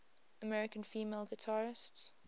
american female guitarists